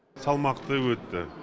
салмақты өтті